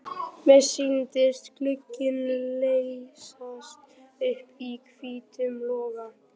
Mér sýndist glugginn leysast upp í hvítum loga.